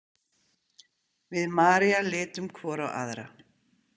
Við María litum hvor á aðra.